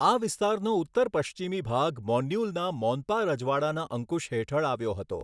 આ વિસ્તારનો ઉત્તર પશ્ચિમી ભાગ મોન્યુલના મોન્પા રજવાડાના અંકુશ હેઠળ આવ્યો હતો.